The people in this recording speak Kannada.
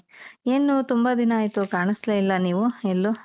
ಏನು ತುಂಬಾ ದಿನ ಆಯಿತು ಕಾಣ್ಸ್ಲೆ ಇಲ್ಲ ನೀವು ಎಲ್ಲೂ?